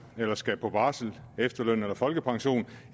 eller skal på barsel efterløn eller folkepension